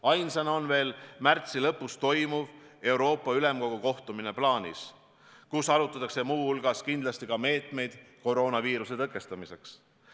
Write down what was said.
Ainsana on veel plaanis märtsi lõpus toimuv Euroopa Ülemkogu kohtumine, kus arutatakse muu hulgas kindlasti ka meetmeid koroonaviiruse tõkestamiseks.